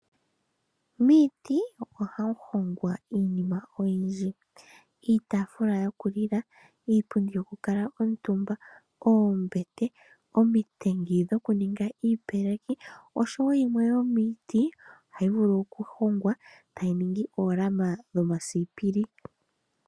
Miiti ohamu hongwa iinima oyindji, iitafula yokulila , iipundi yokukala omutumba, oombete, omitengi dhokuninga iipeleki, osho wo yimwe yomiiti ohayi vulu okuhongwa etayi ningi oolama dhomasipili.